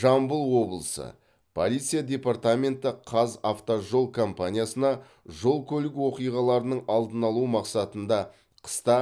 жамбыл облысы полиция департаменті қазавтожол компаниясына жол көлік оқиғаларының алдын алу мақсатында қыста